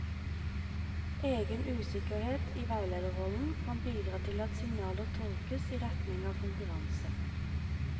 Egen usikkerhet i veilederrollen kan bidra til at signaler tolkes i retning av konkurranse.